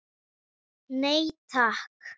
Nei takk.